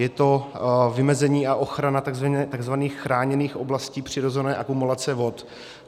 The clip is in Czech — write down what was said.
Je to vymezení a ochrana tzv. chráněných oblastí přirozené akumulace vod.